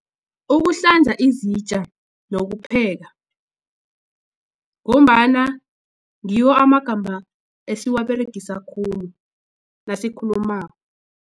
Ukuhlanza izitja nokupheka ngombana ngiwo amagama esiwaberegisa khulu nasikhulumako.